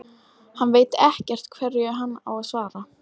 Hann veit ekkert hverju hann á að svara.